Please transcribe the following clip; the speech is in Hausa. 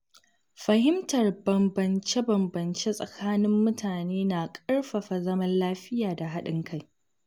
Fahimtar bambance-bambance tsakanin mutane na ƙarfafa zaman lafiya da haɗin kai.